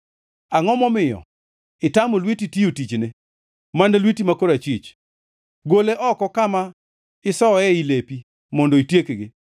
Angʼo momiyo itamo lweti tiyo tichne, mana lweti ma korachwich? Gole oko kama isoye ei lepi mondo itiekgi!